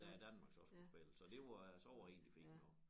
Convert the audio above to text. Da Danmark så skulle spille så det var så var det egentlig fint nok